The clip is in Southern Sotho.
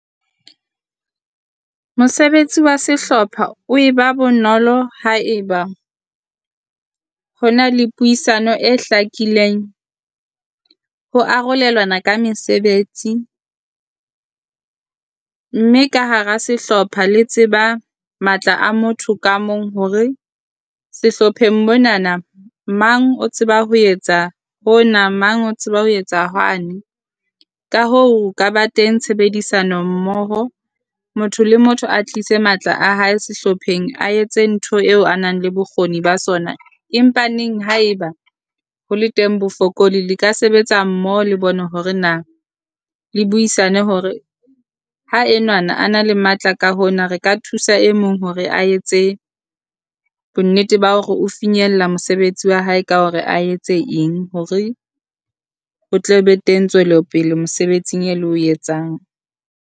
Mosebetsi wa sehlopha o e ba bonolo haeba ho na le puisano e hlakileng ho arolelwana ka mesebetsi, mme ka hara sehlopha le tseba matla a motho ka mong. Hore sehlopheng monana mang o tseba ho etsa hona, mang o tseba ho etsa hwane ka hoo ho ka ba teng tshebedisano mmoho. Motho le motho a tlise matla a hae sehlopheng, a etse ntho eo a nang le bokgoni ba sona. Empa neng haeba ho le teng bofokoli le ka sebetsa mmoho le bone hore na le buisane hore ha enwana a na le matla ka hona, re ka thusa e mong hore a etse bonnete ba hore o finyella mosebetsi wa hae ka hore a etse eng. Hore o tle be teng tswelopele mosebetsing e le o etsang.